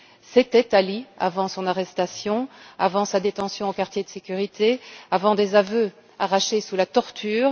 C'était Ali avant son arrestation, avant sa détention au quartier de sécurité, avant des aveux arrachés sous la torture.